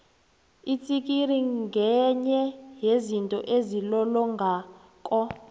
itsikiri ngenye yezinto ezilolongako